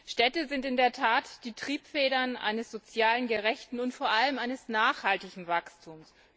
Städte sind in der Tat die Triebfedern eines sozialen, gerechten und vor allem eines nachhaltigen Wachstums.